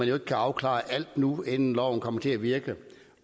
jo ikke afklares nu inden loven kommer til at virke